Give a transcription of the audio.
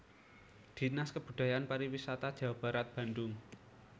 Dinas Kebudayaan Pariwisata Jawa Barat Bandung